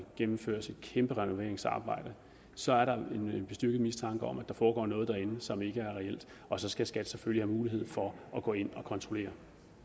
gennemføres et kæmpe renoveringsarbejde så er der en bestyrket mistanke om at der foregår noget derinde som ikke er reelt og så skal skat selvfølgelig have mulighed for at gå ind og kontrollere